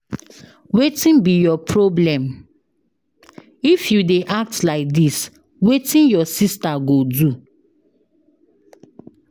Wetin be your problem? If you dey act like dis ,wetin your sister go do?